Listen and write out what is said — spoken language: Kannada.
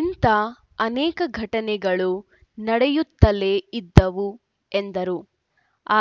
ಇಂಥ ಅನೇಕ ಘಟನೆಗಳು ನಡೆಯುತ್ತಲೇ ಇದ್ದವು ಎಂದರು